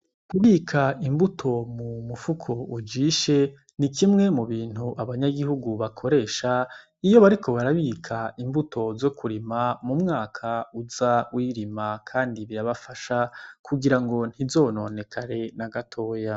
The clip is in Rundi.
Kubika imbuto mu mufuko ujishe ni kimwe mu bintu abanyagihugu bakoresha iyo bariko barabika imbuto zo kurima mu mwaka uza wirima, kandi birabafasha kugira ngo ntizononekare na gatoya.